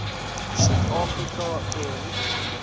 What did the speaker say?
suid afrika en